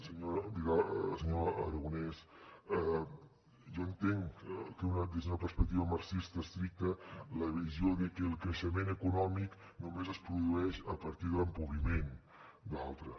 senyor vidal aragonés jo entenc que des d’una perspectiva marxista estricta la visió és que el creixement econòmic només es produeix a partir de l’empobriment d’altres